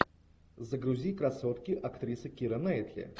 загрузи красотки актриса кира найтли